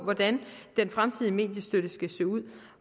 hvordan den fremtidige mediestøtte skal se ud